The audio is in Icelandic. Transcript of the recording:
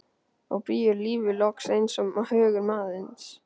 Á bíó er lífið loks eins og hugur manns.